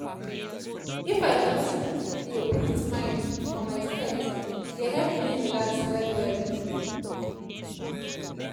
if i just dey put mind for my steps e dey help me relax well well.